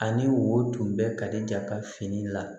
Ani wo tun bɛ kalija ka fini la